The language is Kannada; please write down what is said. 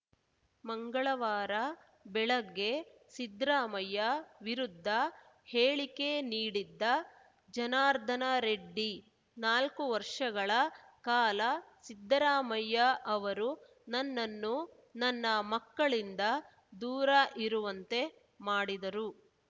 ಮಂಗಳವಾರ ಬೆಳಗ್ಗೆ ಸಿದ್ರಾಮಯ್ಯ ವಿರುದ್ಧ ಹೇಳಿಕೆ ನೀಡಿದ್ದ ಜನಾರ್ದನರೆಡ್ಡಿ ನಾಲ್ಕು ವರ್ಷಗಳ ಕಾಲ ಸಿದ್ದರಾಮಯ್ಯ ಅವರು ನನ್ನನ್ನು ನನ್ನ ಮಕ್ಕಳಿಂದ ದೂರ ಇರುವಂತೆ ಮಾಡಿದರು